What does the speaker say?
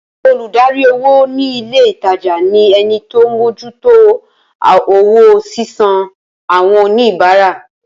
Olùdarí owó ni ilé ìtajà ni ẹnití ọ mójú tó owó sísan àwọn oníbàárà